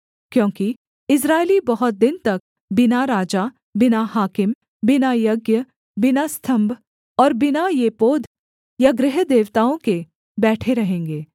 क्योंकि इस्राएली बहुत दिन तक बिना राजा बिना हाकिम बिना यज्ञ बिना स्तम्भ और बिना एपोद या गृहदेवताओं के बैठे रहेंगे